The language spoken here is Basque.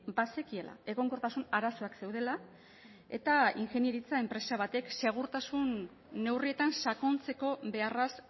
bazekiela egonkortasun arazoak zeudela eta ingeniaritza enpresa batek segurtasun neurrietan sakontzeko beharraz